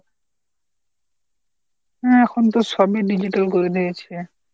হ্যাঁ এখন তো সবই digital করে দিয়েছে।